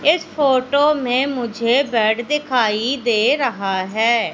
इस फोटो में मुझे बेड दिखाई दे रहा है।